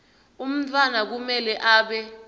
umntfwana kumele abe